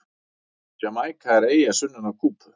Jamaíka er eyja sunnan af Kúbu.